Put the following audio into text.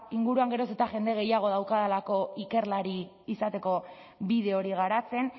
inguruan geroz eta jende gehiago daukadalako ikerlari izateko bide hori garatzen